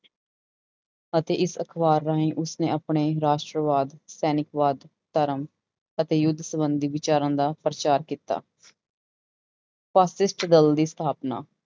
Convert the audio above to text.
ਅਤੇ ਇਸ ਅਖ਼ਬਾਰ ਰਾਹੀਂ ਉਸਨੇ ਆਪਣੇ ਰਾਸ਼ਟਰਵਾਦ, ਸੈਨਿਕਵਾਦ, ਧਰਮ ਅਤੇ ਯੁੱਧ ਸੰਬੰਧੀ ਵਿਚਾਰਾਂ ਦਾ ਪ੍ਰਚਾਰ ਕੀਤਾ ਫਾਸਿਸਟ ਦਲ ਦੀ ਸਥਾਪਨਾ